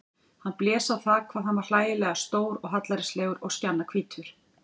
Hann blés á það hvað hann var hlægilega stór og hallærislegur og skjannahvítur.